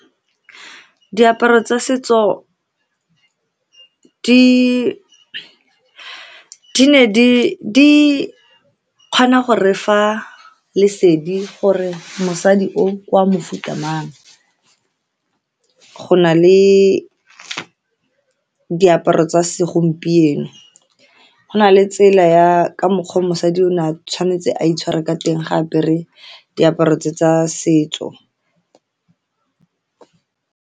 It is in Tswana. Diaparo tsa setso di ne di kgona go refa lesedi gore mosadi o ke wa mofuta mang. Go na le diaparo tsa segompieno, go na le tsela ya ka mokgwa o mosadi o ne a tshwanetse a itshware ka teng, ga a apere diaparo tse tsa setso.